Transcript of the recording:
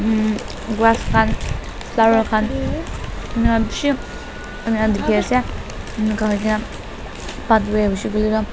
hmm grass khan flower khan ina bishi dikhi ase inika huigena pathway huishey kuile tu--